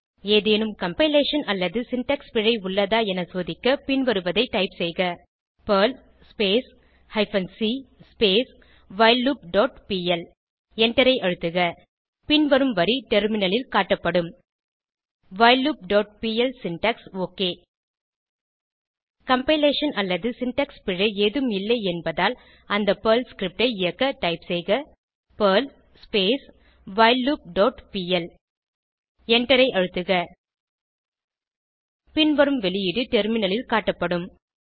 ஏதேனும் கம்பைலேஷன் அல்லது சின்டாக்ஸ் பிழை உள்ளதா என சோதிக்க பின்வருவதை டைப் செய்க Perl hyphen c while loop dot P L எண்டரை அழுத்துக பின்வரும் வரி டெர்மினலில் காட்டப்படும் whileloopபிஎல் சின்டாக்ஸ் ஒக் கம்பைலேஷன் அல்லது சின்டாக்ஸ் பிழை ஏதும் இல்லை என்பதால் அந்த பெர்ல் ஸ்கிரிப்ட் ஐ இயக்க டைப் செய்க பெர்ல் வைல்லூப் டாட் பிஎல் எண்டரை அழுத்துக பின்வரும் வெளியீடு டெர்மினலில் காட்டப்படும்